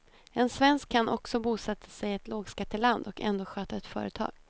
En svensk kan också bosätta sig i ett lågskatteland och ändå sköta ett företag.